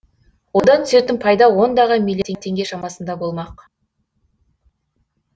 одан түсетін пайда ондаған милли теңге шамасында болмақ